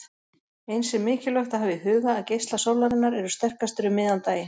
Eins er mikilvægt að hafa í huga að geislar sólarinnar eru sterkastir um miðjan daginn.